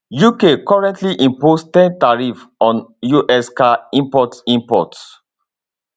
uk currently impose ten tariff on us car imports imports